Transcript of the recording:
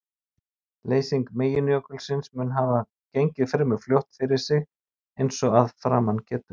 Leysing meginjökulsins mun hafa gengið fremur fljótt fyrir sig eins og að framan getur.